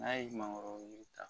N'a ye mangoro yiri ta